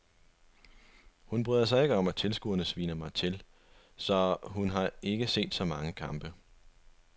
Hun bryder sig ikke om at tilskuerne sviner mig til, så hun har ikke set så mange kampe.